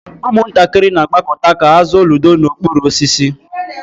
Ụmụntakịrị na-agbakọta ka ha zụọ ludo n'okpuru osisi.